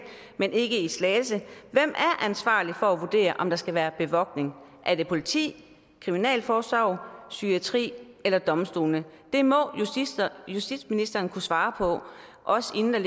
men ikke i slagelse hvem er ansvarlig for at vurdere om der skal være bevogtning er det politiet kriminalforsorgen psykiatrien eller domstolene det må justitsministeren kunne svare på også inden der